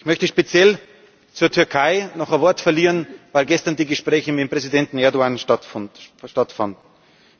Ich möchte speziell zur Türkei noch ein Wort verlieren, weil gestern die Gespräche mit Präsident Erdoğan stattgefunden haben